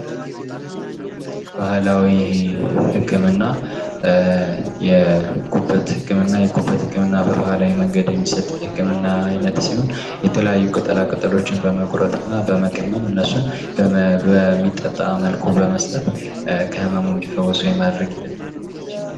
ባሕላዊ ሕክምና : ከተለያዩ ባህሎችና ትውልዶች ሲወራረድ የመጣ፣ በተፈጥሮ ከሚገኙ ነገሮች እንደ ዕፅዋት፣ የእንስሳት ተዋጽኦ፣ ማዕድናት እና ከተለያዩ የአካላዊ ወይም መንፈሳዊ ልማዶች የሚጠቀም የሕመም መከላከል፣ መመርመሪያና ማከሚያ ዘዴ።